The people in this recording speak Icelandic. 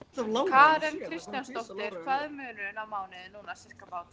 Karen Kjartansdóttir: Hvað er munurinn á mánuði núna, sirkabát?